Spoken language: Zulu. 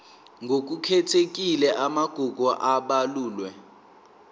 ngokukhethekile amagugu abalulwe